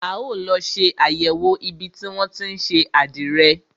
A ó lọ ṣe àyẹ̀wò ibi tí wọn tí ń ṣe àdìrẹ.